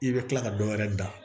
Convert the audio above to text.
I bɛ tila ka dɔ wɛrɛ da